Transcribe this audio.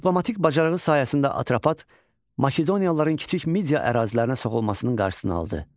Diplomatik bacarığı sayəsində Atropat Makedoniyalıların Kiçik Midya ərazisinə soxulmasının qarşısını aldı.